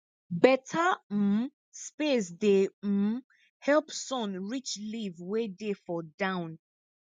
beta um space dey um help sun reach leaf wey dey for down